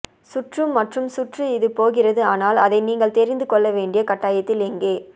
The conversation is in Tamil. சுற்று மற்றும் சுற்று இது போகிறது ஆனால் அதை நீங்கள் தெரிந்து கொள்ள வேண்டிய கட்டாயத்தில் எங்கே